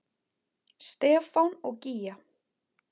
Stefán og Gígja.